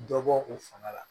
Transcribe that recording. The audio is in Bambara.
Dɔ bɔ u fanga la